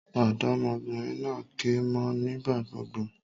Òdómọbìnrin naa ké mó ọ nígbà gbogbo